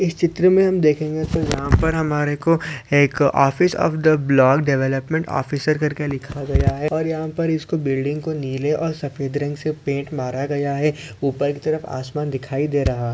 इस चित्र में हम देखेंगे तो यहाँ पर हमारे को एक office of the block development officer करके लिखा गया है और यहाँ पर इसको बिल्डिंग को नीले और सफ़ेद रंग से पेंट मारा गया है ऊपर की तरफ आसमान दिखाई दे रहा --